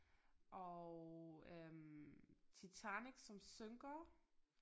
Og øh Titanic som synker